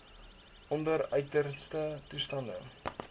onder uiterste toestande